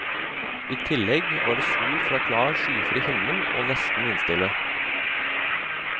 I tillegg var det sol fra klar skyfri himmel og nesten vindstille.